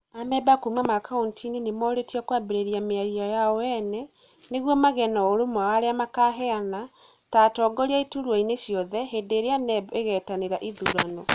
Amemba kuuma makaũntĩ nĩ moorĩtio kũambĩrĩria mĩario yao ene, nĩguo magĩe na ũrũmwe wa arĩa makaheana ta atongoria iturwa-inĩ ciothe hĩndĩ ĩrĩa NEB ĩgaĩtanĩra ĩthurano.